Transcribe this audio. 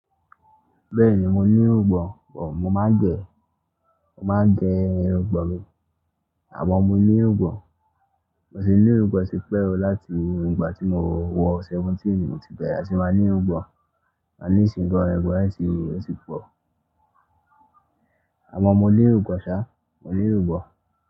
Bẹ́ẹ̀ni mo ní irugbọ̀n, bo mo máa ń gẹ, mo máa ń jẹ irun irugbọ̀n mi. Àmọ́ mo ní irugbọ̀n, mo tì ní irugbọ̀n tí pẹ́ o láti ìgbà tí mo wọ seventeen i mo ti bẹ̀rẹ̀ sì máa ní irugbọ̀n, a nísiinyin gan irugbọ̀n ti wu, ó ti pọ̀. Àmọ́ mo ní irugbọ̀n ṣá, mo ní irugbọ̀n.